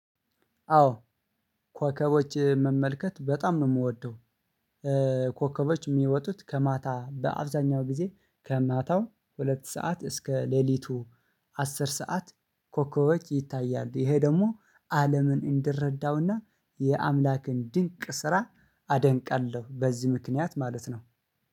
አዎ ኮከቦች መመልከት በጣም ነው ምወደው። ኮከቦች የምወጡት ከማታ በአብዛኛው ጊዜ ከማታው ሁለት ሰዓት እስከ ለልቱ አስር ስዓት። ኮከቦች ይታያሉ ይሄ ደግሞ አለምን እንድረደው እና የአምላክን ድንቅ ስራ አደንቃለሁ። በዚህ ምክንያት ማለት ነው